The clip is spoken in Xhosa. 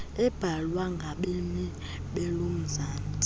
ebhalwa ngabemmi belomzantsi